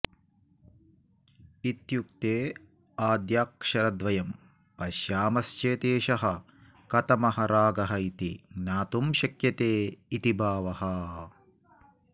इत्युक्ते आद्याक्षरद्वयं पश्यामश्चेत् एषः कथमः रागः इति ज्ञातुं शक्यते इति भावः